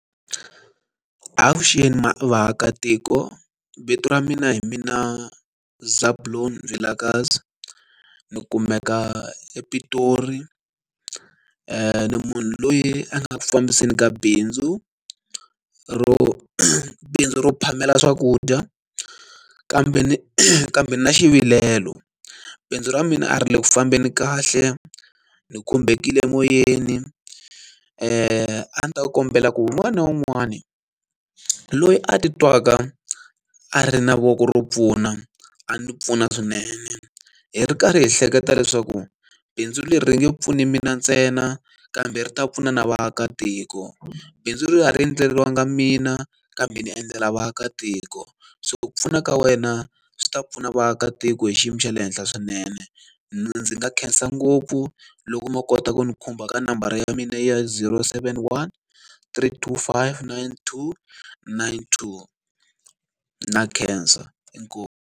Avuxeni vaakatiko. Vito ra mina hi mina Zebulon Vilakazi. Ni kumeka ePitori. Ni munhu loyi a nga ku fambiseni ka bindzu ro bindzu ro phamela swakudya. Kambe kambe ni na xivilelo, bindzu ra mina a ri le ku fambeni kahle, ni khumbekile emoyeni. A ni ta kombela ku wun'wani na wun'wani loyi a ti twaka a ri na voko ro pfuna, a ni pfuna swinene. Hi ri karhi hi hleketa leswaku bindzu leri ri nge pfuni mina ntsena, kambe ri ta pfuna na vaakatiko. Bindzu leri a ri endleriwangi mina, kambe ni endlela vaakatiko. So pfuna ka wena swi ta pfuna vaakatiko hi xiyimo xa le henhla swinene. Ndzi nga khensa ngopfu loko mo kota ku ni khumba ka nambara ya mina ya zero seven one three two five nine two nine two. Na khensa, inkomu.